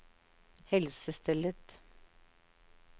helsestellet